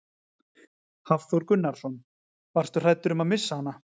Hafþór Gunnarsson: Varstu hræddur um að missa hana?